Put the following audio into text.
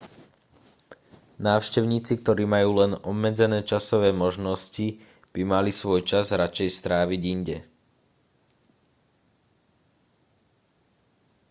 návštevníci ktorí majú len obmedzené časové možnosti by mali svoj čas radšej stráviť inde